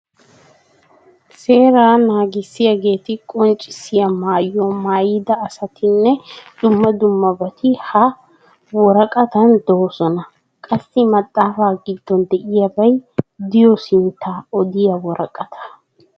Seeraa naagissiyaageeta qonccissiya maaayuwa mayyida asatinne dumma dummabati ha wiraqatan doosona . Qassi maxxaafaa giddon diyaabay diyo sinttaa odiya woraqataa.